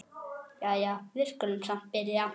Jæja, við skulum samt byrja.